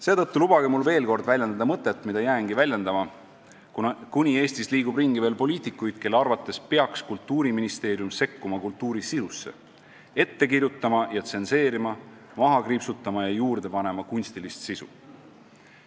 Seetõttu lubage mul veel kord väljendada mõtet, mida ma jäängi väljendama, kuni Eestis liigub ringi veel poliitikuid, kelle arvates peaks Kultuuriministeerium sekkuma kultuuri sisusse, ette kirjutama ja tsenseerima, maha kriipsutama ja juurde panema kunstilist sisu.